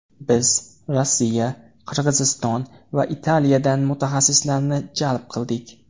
Biz Rossiya, Qirg‘izston va Italiyadan mutaxassislarni jalb qildik.